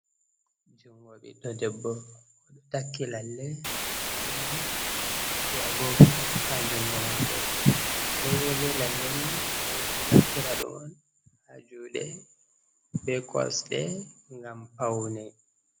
jungo ɓiɗɗo debbo takki lalle fauni be agogo ha jungo mako agogo be lalleni roɓe ɗo naftira ɗum ha juɗe be kosɗe gam pauni